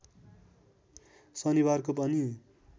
शनिबारको पनि